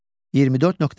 24.5.